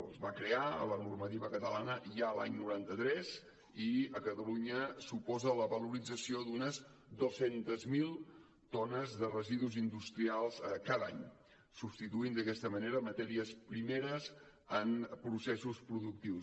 es va crear a la normativa catalana ja l’any noranta tres i a catalunya suposa la valorització d’unes dos cents miler tones de residus industrials cada any substituint d’aquesta manera matèries primeres en processos productius